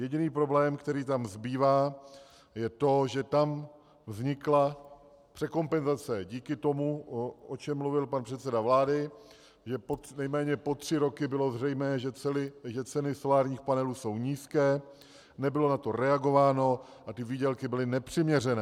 Jediný problém, který tam zbývá, je to, že tam vznikla překompenzace díky tomu, o čem mluvil pan předseda vlády, že nejméně po tři roky bylo zřejmé, že ceny solárních panelů jsou nízké, nebylo na to reagováno a ty výdělky byly nepřiměřené.